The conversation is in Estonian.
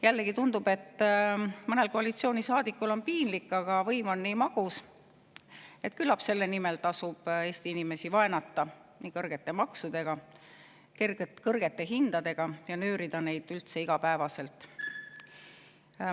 Jällegi tundub, et mõnel koalitsioonisaadikul on piinlik, aga võim on magus, nii et küllap selle nimel tasub Eesti inimesi vaenata kõrgete maksudega ja kõrgete hindadega ning neid üldse igapäevaselt nöörida.